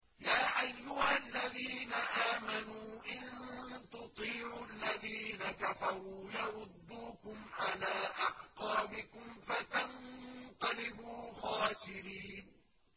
يَا أَيُّهَا الَّذِينَ آمَنُوا إِن تُطِيعُوا الَّذِينَ كَفَرُوا يَرُدُّوكُمْ عَلَىٰ أَعْقَابِكُمْ فَتَنقَلِبُوا خَاسِرِينَ